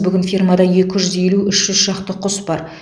бүгін фермада екі жүз елу үш жүз шақты құс бар